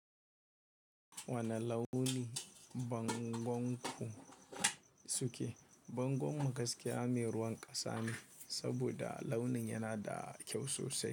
Wane launi bangonku suke? Bangon mu gaskiya me ruwan ƙasa ne, saboda launin yana da kyau sosai.